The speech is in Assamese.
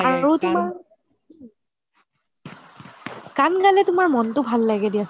আৰু তুমাৰ গান গালে তুমাৰ মনটো ভাল লাগে দিয়াচোন